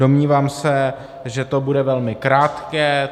Domnívám se, že to bude velmi krátké.